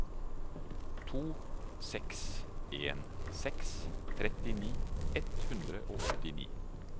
to seks en seks trettini ett hundre og åttini